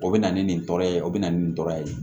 O bɛ na ni nin tɔɔrɔ ye o bɛ na ni nin tɔra ye